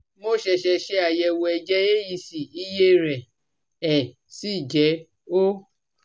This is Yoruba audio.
Mo ṣẹ̀ṣẹ̀ ṣe àyẹ̀wò ẹ̀jẹ̀ AEC, iye rẹ̀ ẹ́ sì jẹ́ 0